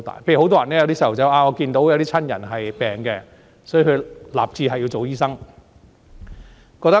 例如，有小孩看到親人病了，所以立志做醫生。